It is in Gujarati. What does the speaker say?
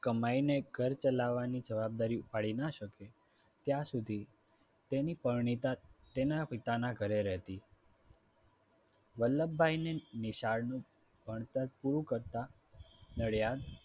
કમાઈને ઘર ચલાવવાની જવાબદારી ઉપાડી ન શકે ત્યાં સુધી તેની પરણિતા તેના પિતાના ઘરે રહેતી. વલ્લભભાઈની નિશાળનું ભણતર પૂરું કરતાં નડિયાદ